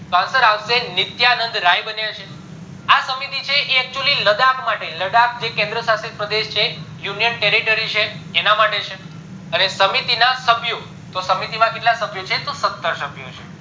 તો answer આવશે નિત્યાનંદ રાય બન્યા છે આ સમિતિ છે એ actually લડાખ માટે લડક જે કેન્દ્રિય શશિક પ્રદેશ છે unionteritrory છે એના માટે છે અને સમિતિ ના સભ્યો તો સમિતિ માં કેટલા સભ્યો છે તો સત્તર સભ્યો છે